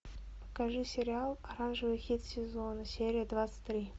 покажи сериал оранжевый хит сезона серия двадцать три